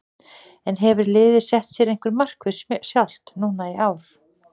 En hefur liðið sett sér einhver markmið sjálft núna í ár?